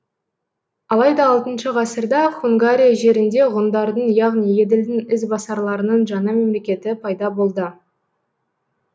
алайда алты ғасырда хунгария жерінде ғұндардың яғни еділдің ізбасарларының жаңа мемлекеті пайда болды